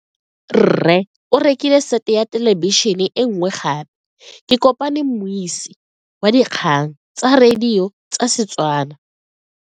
Rre o rekile sete ya thelebišene e nngwe gape. Ke kopane mmuisi w dikgang tsa radio tsa Setswana.